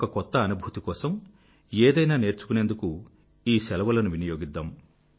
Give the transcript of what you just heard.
ఒక కొత్త అనుభూతి కోసం ఏదైనా నేర్చుకునేందుకు ఈ శెలవులను వినియోగిద్దాం